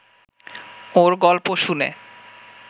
ওঁর গল্প শুনে